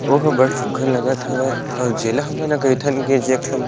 ओहा बड़ सुघघर लगत हवे अऊ जेला हमन हा कैथन की जे एक ठन--